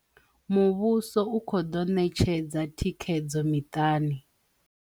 Muvhuso u khou ḓo ṋetshedza thikhedzo miṱani